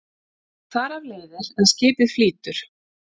Þar af leiðir að skipið flýtur.